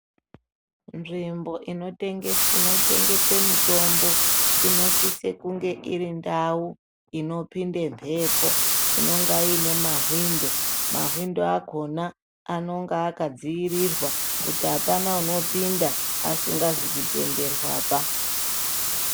Nzvimbo inochengetwe mitombo inosise kunge irindau inopinde mbepo, inenge iine mshwindo. Mahwindo akona anonga akadziirirwa kuti hapana unopinda asingazi kutenderwaba.